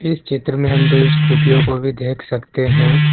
इस चित्र में हम दो स्कूटियों को भी देख सकते हैं।